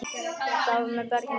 Hvað með börnin okkar?